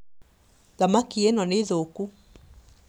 Thamaki ĩno nĩ thũku